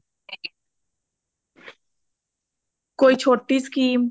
ਕੋਈ ਛੋਟੀ SCHEME